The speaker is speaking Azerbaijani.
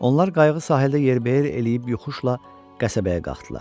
Onlar qayığı sahildə yerbəyer eləyib yoxuşla qəsəbəyə qalxdılar.